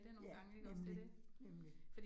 Ja, nemlig, nemlig